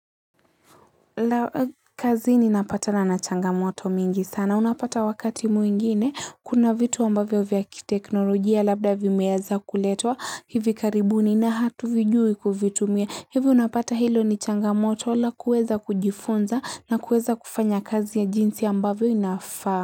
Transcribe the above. Na kazi nina patana na changamoto mingi sana. Unapata wakati mwingine. Kuna vitu ambavyo vya ki teknolojia labda vimeanza kuletwa. Hivi karibuni na hatu vijui kuvitumia. Hivi unapata hilo ni changamoto. Ila kueza kujifunza na kueza kufanya kazi ya jinsi ambavyo inafaa.